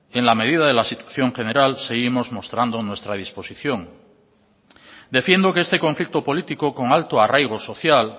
en la medida de la situación general seguimos mostrando nuestra disposición defiendo que este conflicto político con alto arraigo social